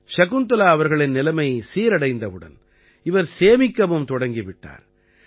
சகுந்தலா அவர்களின் நிலைமை சீரடைந்தவுடன் இவர் சேமிக்கவும் தொடங்கி விட்டார்